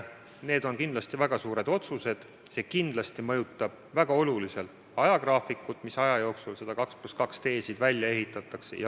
Need on kindlasti väga suured otsused ja see kindlasti mõjutab väga oluliselt ajagraafikut, mis aja jooksul need 2 + 2 teed välja ehitatakse.